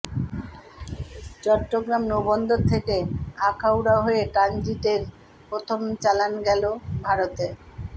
চট্টগ্রাম নৌবন্দর থেকে আখাউড়া হয়ে ট্রানজিটের প্রথম চালান গেলো ভারতে